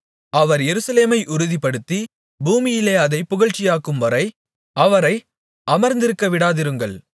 அவர் எருசலேமை உறுதிப்படுத்தி பூமியிலே அதைப் புகழ்ச்சியாக்கும்வரை அவரை அமர்ந்திருக்கவிடாதிருங்கள்